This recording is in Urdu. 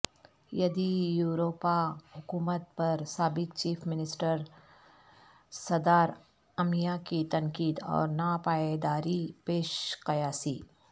یدی یورپا حکومت پر سابق چیف منسٹر سدارامیا کی تنقید اور ناپائیداری پیش قیاسی